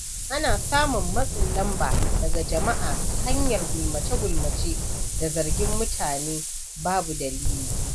Ana samun matsin lamba daga jama’a ta hanyar gulmace-gulmace da zargin mutane babu dalili.